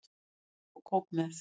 Fá sér popp og kók með.